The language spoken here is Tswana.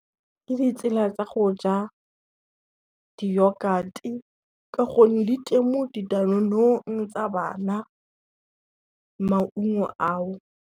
Ke ditsela tsa go ja di-yogurt-e ka gonne di teng mo di-danone-ong tsa bana maungo ao.